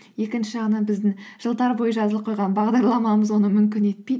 екінші жағынан біздің жылдар бойы жазылып қойған бағдарламамыз оны мүмкін етпейді